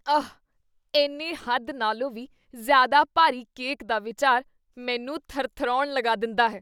ਆਹ, ਇੰਨੇ ਹੱਦ ਨਾਲੋਂ ਵੀ ਜ਼ਿਆਦਾ ਭਾਰੀ ਕੇਕ ਦਾ ਵਿਚਾਰ ਮੈਨੂੰ ਥਰਥਰਾਉਣ ਲਗਾ ਦਿੰਦਾ ਹੈ।